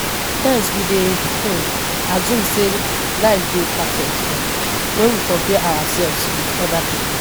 Sometimes we dey um assume sey life dey perfect um when we compare ourselves with oda pipo